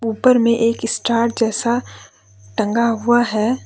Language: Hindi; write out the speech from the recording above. ऊपर में एक स्टार जैसा टंगा हुआ है।